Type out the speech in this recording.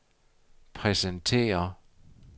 præsenterer